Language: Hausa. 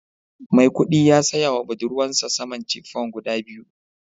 Maikudi ya siya wa budurwarsa saman chiffon guda biyu